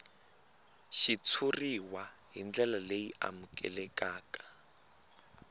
xitshuriwa hi ndlela leyi amukelekaka